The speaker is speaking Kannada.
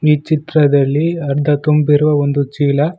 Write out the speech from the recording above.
ಈ ಚಿತ್ರದಲ್ಲಿ ಅರ್ಧ ತುಂಬಿರುವ ಒಂದು ಚೀಲ.